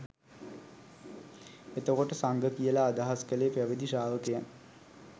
එතකොට සංඝ කියල අදහස් කළේ පැවිදි ශ්‍රාවකයන්